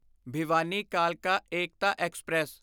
ਭਿਵਾਨੀ ਕਾਲਕਾ ਏਕਤਾ ਐਕਸਪ੍ਰੈਸ